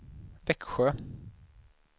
Växjö